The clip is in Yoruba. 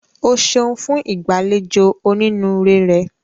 O ṣeun fun igbaalejò oninuure rẹ.